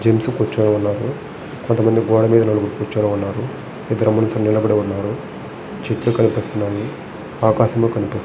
Gents కూర్చునే ఉన్నారు కొంతమంది గోడ మీద కూర్చొని ఉన్నారు. ఇద్దరు మనుషులు నిలబడి ఉన్నారు చెట్లు కనిపిస్తున్నాయి ఆకాశము కనిపి --